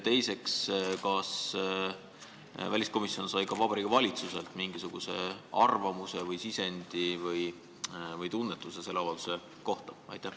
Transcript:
Teiseks, kas väliskomisjon sai ka Vabariigi Valitsuselt mingisuguse arvamuse või sisendi või tunnetuse selle avalduse kohta?